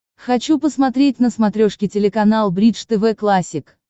хочу посмотреть на смотрешке телеканал бридж тв классик